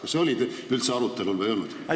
Kas see oli üldse arutelul või ei olnud?